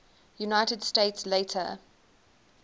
united states later